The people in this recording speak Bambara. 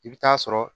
I bɛ taa sɔrɔ